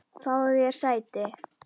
Fáðu þér sæti!